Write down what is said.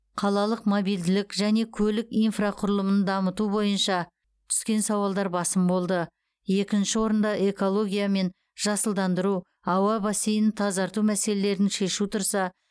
қалалық мобильділік және көлік инфрақұрылымын дамыту бойынша түскен сауалдар басым болды екінші орында экология мен жасылдандыру ауа бассейнін тазарту мәселелерін шешу тұрса